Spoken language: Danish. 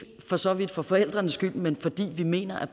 for så vidt for forældrenes skyld men fordi vi mener at